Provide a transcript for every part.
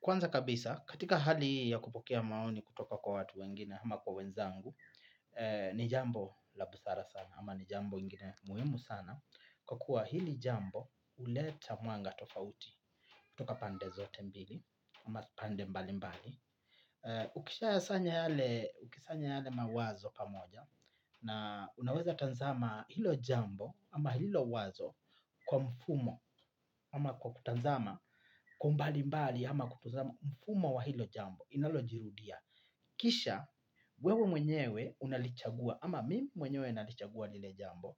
Kwanza kabisa, katika hali hii ya kupokea maoni kutoka kwa watu wengine ama kwa wenzangu, ni jambo la busara sana ama ni jambo ingine muhimu sana, kwa kuwa hili jambo huleta mwanga tofauti kutoka pande zote mbili ama pande mbali mbali. Ukisha sanya yale mawazo pamoja na unaweza tazama hilo jambo ama hilo wazo kwa mfumo ama kwa kutazama kwa umbali mbali ama kutuzama mfumo wa hilo jambo inalojirudia. Kisha wewe mwenyewe unalichagua ama mimi mwenyewe nalichagua lile jambo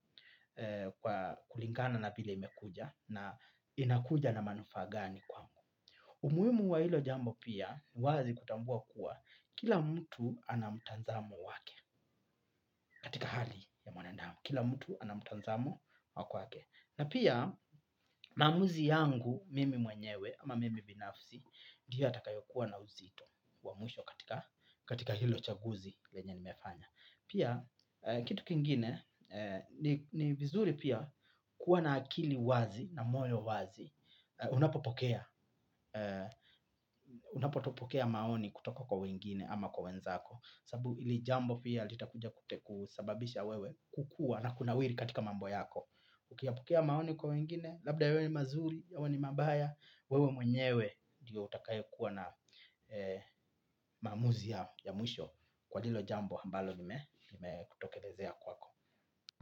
kwa kulingana na vile imekuja na inakuja na manufaa gani kwangu. Umuhimu wa hilo jambo pia, wazi kutambua kuwa kila mtu ana mtazamo wake katika hali ya mwanadamu. Kila mtu ana mtazamo wa kwake. Na pia maamuzi yangu mimi mwenyewe ama mimi binafsi ndio yatakayo kuwa na uzito wa mwisho katika hilo chaguzi lenye nimefanya. Pia kitu kingine ni vizuri pia kuwa na akili wazi na moyo wazi. Unapo pokea maoni kutoka kwa wengine ama kwa wenzako. Sababu hili jambo pia litakuja ku sababisha wewe kukua na kunawiri katika mambo yako. Ukiyapokea maoni kwa wengine, labda yawe ni mazuri, yawe ni mabaya. Wewe mwenyewe ndio utakaye kuwa na maamuzi ya mwisho kwa hilo jambo ambalo lime kutokelezea kwako.